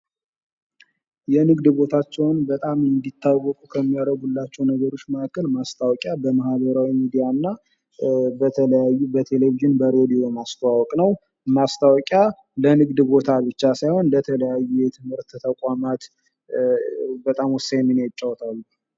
የንግድ ቦታቸውን በጣም እንዲታወቁ ከሚያደርጉላቸው ነገሮች መካከል ማስታወቂያ በማህበራዊ ሚዲያ እና በተለያዩ በቴሌቪዥን፣ በሬድዮ ማስተዋወቅ ነው። ማስታወቂያ ለንግድ ቦታ ብቻ ሳይሆን ለተለያዩ ለትምህርት ተቋማት በጣም ወሳኝ ሚና ይጫወታሉ።